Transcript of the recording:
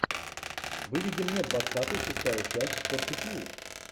выведи мне двадцатый шестая часть фортитьюд